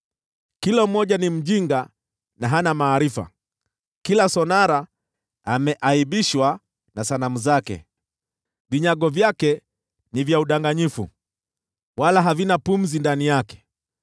Kila mmoja ni mjinga na hana maarifa, kila sonara ameaibishwa na sanamu zake. Vinyago vyake ni vya udanganyifu, havina pumzi ndani yavyo.